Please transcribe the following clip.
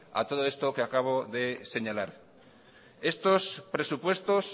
a todo esto que acabo de señalar estos presupuestos